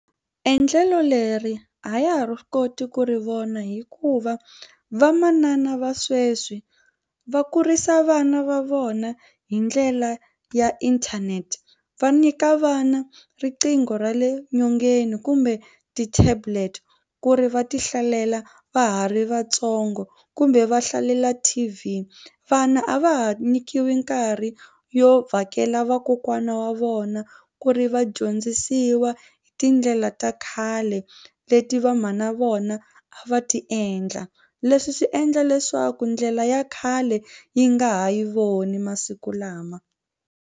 Endlelo leri a ya ha ri koti ku ri vona hikuva vamanana va sweswi va kurisa vana va vona hi ndlela ya inthanete. Va nyika vana riqingho ra le nyongeni kumbe ti-tablet ku ri va ti hlalela va ha ri vatsongo kumbe va hlalela T_V. Vana a va ha nyikiwi nkarhi yo vhakela vakokwana wa vona ku ri va dyondzisiwa hi tindlela ta khale leti vamhana va na vona a va ti endla leswi swi endla leswaku ndlela ya khale yi nga ha yi voni masiku lama.